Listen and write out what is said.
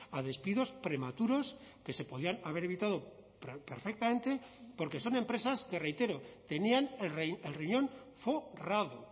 a despidos prematuros que se podían haber evitado perfectamente porque son empresas que reitero tenían el riñón forrado